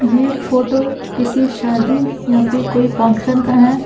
ये फोटो किसी शादी या फिर कोई फंक्शन का है।